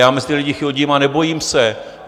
Já mezi ty lidi chodím a nebojím se.